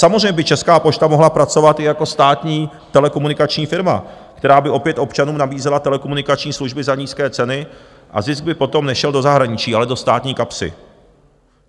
Samozřejmě by Česká pošta mohla pracovat i jako státní telekomunikační firma, která by opět občanům nabízela telekomunikační služby za nízké ceny a zisk by potom nešel do zahraničí, ale do státní kapsy.